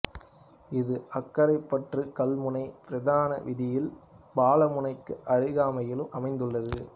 இது அக்கரைப்பற்று கல்முனை பிரதான வீதியில் பாலமுனைக்கு அருகாமையில் அமைந்துள்ளது